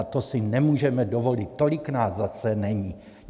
A to si nemůžeme dovolit, tolik nás zase není.